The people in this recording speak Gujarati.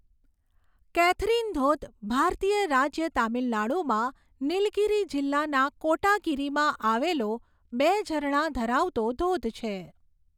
કેથરીન ધોધ ભારતીય રાજ્ય તામિલનાડુમાં નીલગિરી જિલ્લાના કોટાગિરીમાં આવેલો બે ઝરણા ધરાવતો ધોધ છે.